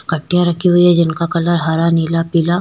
कट्टीया रखी हुई है जिनका कलर हरा नीला पीला--